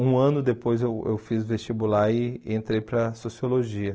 Um ano depois eu eu fiz vestibular e entrei para Sociologia.